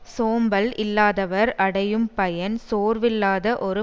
சோம்பல் இல்லாதவர் அடையும் பயன் சோர்வில்லாத ஒரு